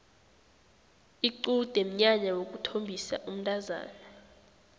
iqude mnyanya wokuthombisa umntazana